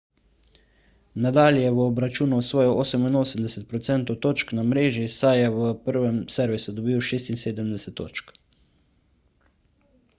nadal je v obračunu osvojil 88 % točk na mreži saj je v prvem servisu dobil 76 točk